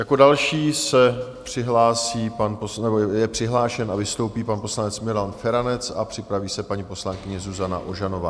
Jako další je přihlášen a vystoupí pan poslanec Milan Feranec a připraví se paní poslankyně Zuzana Ožanová.